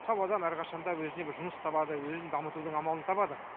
сау адам әрқашанда өзіне бір жұмыс табады өзін дамытудың амалын табады